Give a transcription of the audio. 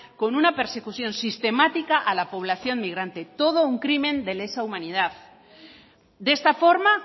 con una persecución sistemática a la población migrante todo un crimen de lesa humanidad de esta forma